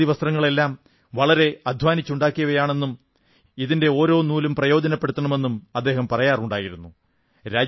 ഈ ഖാദി വസ്ത്രങ്ങളെല്ലാം വളരെ അധ്വാനിച്ചുണ്ടാക്കിയവയാണെന്നും ഇതിന്റെ ഓരോ നൂലും പ്രയോജനപ്പെടുത്തണമെന്നും അദ്ദേഹം പറയാറുണ്ടായിരുന്നു